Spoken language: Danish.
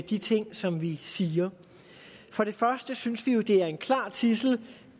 de ting som vi siger for det første synes vi jo at det er en klar tidsel